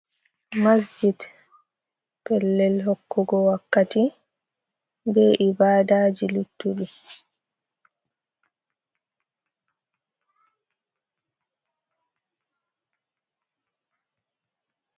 Masjit, pellel hokkugo wakkati be ibadaji luttuɗi.